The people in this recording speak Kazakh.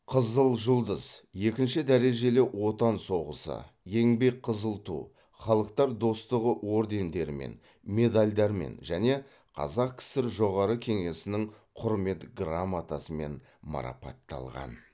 қызыл жұлдыз екінші дәрежелі отан соғысы еңбек қызыл ту халықтар достығы ордендерімен медальдармен және қазақ кср жоғарғы кеңесінің құрмет грамотасымен марапатталған